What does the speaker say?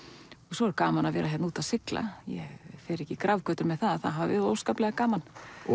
svo er gaman að vera hérna úti að sigla ég fer ekki í grafgötur með það að það hafi óskaplega gaman